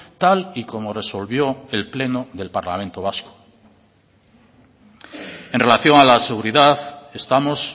tal y como resolvió el pleno del parlamento vasco en relación a la seguridad estamos